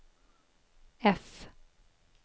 F